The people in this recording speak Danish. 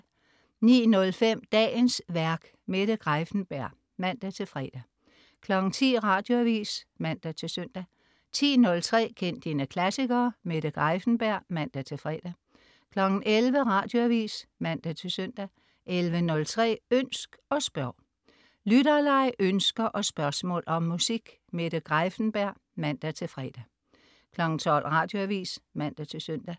09.05 Dagens værk. Mette Greiffenberg (man-fre) 10.00 Radioavis (man-søn) 10.03 Kend dine klassikere. Mette Greiffenberg (man-fre) 11.00 Radioavis (man-søn) 11.03 Ønsk og spørg. Lytterleg, ønsker og spørgsmål om musik. Mette Greiffenberg (man-fre) 12.00 Radioavis (man-søn)